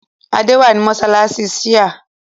Adé wà ní mọ́ṣáláṣí Shia